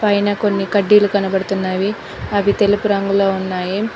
పైన కొన్ని కడ్డీలు కనబడుతున్నవి అవి తెలుపు రంగులో ఉన్నాయి.